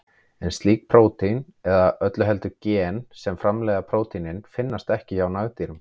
En slík prótín, eða öllu heldur gen sem framleiða prótínin, finnast ekki hjá nagdýrum.